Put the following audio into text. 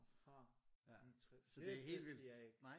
Aha interessant det vidste jeg ikke